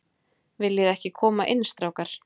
Viljiði ekki koma inn, strákar?